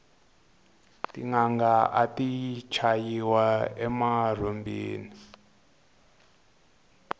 tinanga ati chayiwa emarhumbini